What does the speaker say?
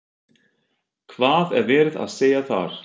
Hvað er verið að segja þar?